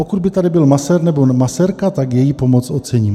Pokud by tady byl masér nebo masérka, tak její pomoc ocením.